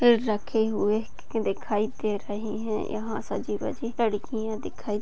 पेड़ रखे हुए दिखाई दे रहे है यहाँ सजी वजी लड़कियां दिखाई--